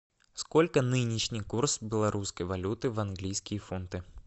сколько нынешний курс белорусской валюты в английские фунты